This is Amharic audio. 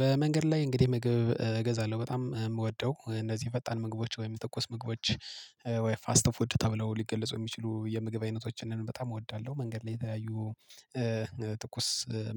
በመንገድ ላይ እንግዲህ ምግብ እገዛለሁ በጣም የምወደው እንደዚህ የፈጣን ምግቦች ወይም ትኩስ ምግቦች ወይ ፋስት ፉድ ተብለው ሊገልጹ የሚችሉ የምግብ አይነቶችን በጣም እወዳለሁ። መንገድ ላይ የተለያዩ ትኩስ